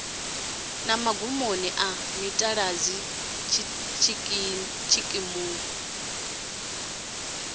na magumoni a mitaladzi tshikimu